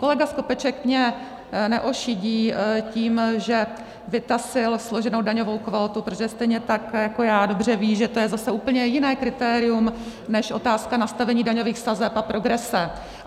Kolega Skopeček mě neošidí tím, že vytasil složenou daňovou kvótu, protože stejně tak jako já dobře ví, že to je zase úplně jiné kritérium než otázka nastavení daňových sazeb a progrese.